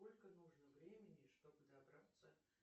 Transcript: сколько нужно времени чтобы добраться